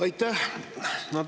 Aitäh!